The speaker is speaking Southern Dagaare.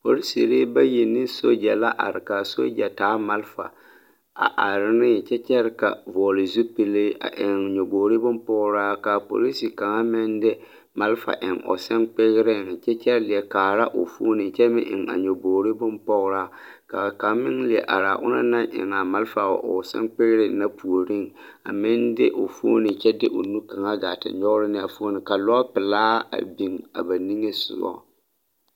Polisiri bayi ane sogya la are ka a sogya taa malfa a are neŋ kyɛ kyɛre ka a vɔgle zupilli a eŋ nyɔboŋ bompɔgraa ka a polisi kaŋ meŋ de malfa a eŋ o seŋkpeereŋ kyɛ leɛ kaara o foni ka kaŋ meŋ eŋ a nyɔbogri bompɔgraa ka kaŋa meŋ leɛ are a kaŋ naŋ eŋ a malfa o seŋkpeere puoriŋ a meŋ de o foni kyɛ de o nuu kaŋa te nyɔgre neŋ a foni ka lɔɔre meŋ are lɔpelaa meŋ bie a nimisɔgɔ.